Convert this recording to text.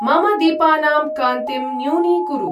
मम दीपानां कान्तिं न्यूनी कुरु।